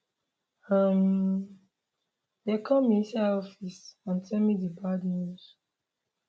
um dem call me inside office and tell me di bad news